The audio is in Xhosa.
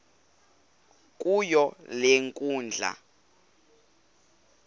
kuyo le nkundla